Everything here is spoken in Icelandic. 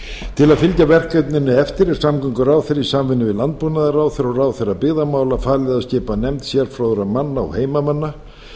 til að fylgja verkefninu eftir er samgönguráðherra í samvinnu við landbúnaðarráðherra og ráðherra byggðamála falið að skipa nefnd sérfróðra manna og heimamanna